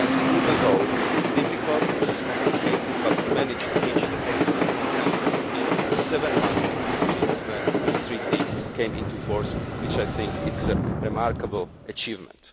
Even though it was difficult, it was complicated, we have managed to reach a political consensus in seven months since the new treaty came into force, which is, I think, a remarkable achievement.